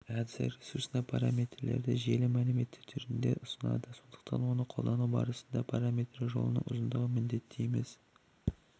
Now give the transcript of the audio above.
әдісі ресурсына параметрлерді желе мәлімет түрінде ұсынады сондықтан оны қолдану барысында параметрлер жолының ұзындығын міндетті емес